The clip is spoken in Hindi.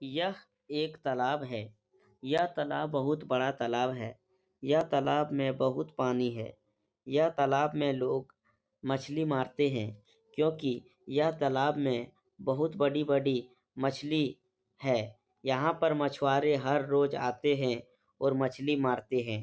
यह एक तालाब है। यह तालाब बहुत बड़ा तालाब है। यह तालाब में बहुत पानी है। यह तालाब में लोग मछली मारते हैं। क्योंकि यह तालाब में बहुत बड़ी बड़ी मछली है। यहाँ पर मछुआरे हर रोज आते हैं और मछली मारते हैं।